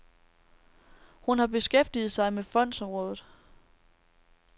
Hun har beskæftiget sig med fondsområdet.